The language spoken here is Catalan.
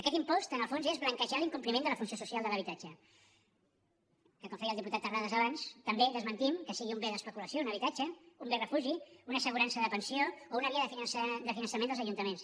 aquest impost en el fons és blanquejar l’incompliment de la funció social de l’habitatge que com feia el diputat terrades abans també desmentim que sigui un bé d’especulació un habitatge un bé refugi una assegurança de pensió o una via de finançament dels ajuntaments